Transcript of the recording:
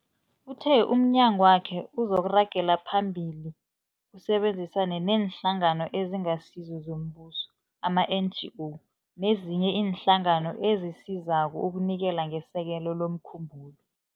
Uthe umnyagwakhe uzoragela phambili usebenzisane neeNhlangano eziNgasizo zoMbuso, ama-NGO, nezinye iinhlangano ezisizako ukunikela ngesekelo lomkhumbulo.